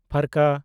ᱼ